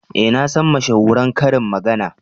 Eh nasan mashahuran karin magana.